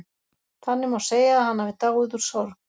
Þannig má segja að hann hafi dáið úr sorg.